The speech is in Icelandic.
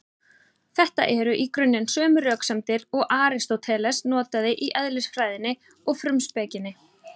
Þetta eru í grunninn sömu röksemdir og Aristóteles notaði í Eðlisfræðinni og Frumspekinni.